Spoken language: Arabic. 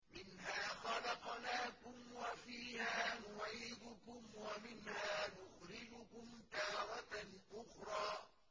۞ مِنْهَا خَلَقْنَاكُمْ وَفِيهَا نُعِيدُكُمْ وَمِنْهَا نُخْرِجُكُمْ تَارَةً أُخْرَىٰ